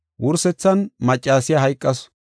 Wursethan maccasiya hayqasu.